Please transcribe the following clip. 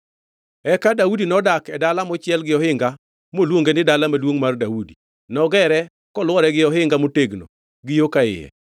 Eka Daudi nodak e dala mochiel gi ohinga moluonge ni Dala Maduongʼ mar Daudi. Nogere kolwore gi ohinga motegno gi yo ka iye.